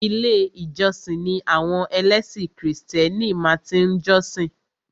Ilé ìjósìn ni àwọn ẹlẹ́sìn krìstẹ́nì máa tí ń jọ́sìn.